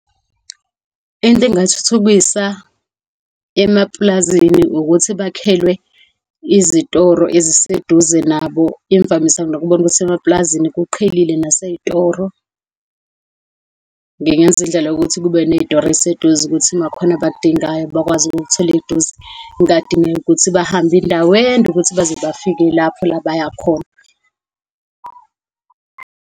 Into engingayithuthukisa emapulazini ukuthi bakhelwe izitoro eziseduze nabo. Imvamisa nginokubona ukuthi emapulazini kuqhelile nasezitoro. Ngingenza indlela yokuthi kube ney'toro ezeseduze ukuthi makukhona abakudingayo bakwazi ukukuthola eduze. Kungadingeki ukuthi bahambe indawo ende ukuthi baze bafike lapho la bayakhona.